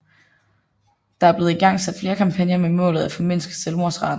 Der er blevet igangsat flere kampagner med målet at formindske selvmordsraten